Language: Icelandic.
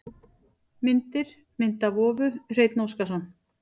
Myndir: Mynd af vofu: Hreinn Óskarsson.